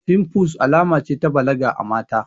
Fimfles alama ce ta balaga a mata